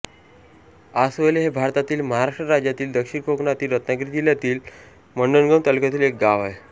आसवले हे भारतातील महाराष्ट्र राज्यातील दक्षिण कोकणातील रत्नागिरी जिल्ह्यातील मंडणगड तालुक्यातील एक गाव आहे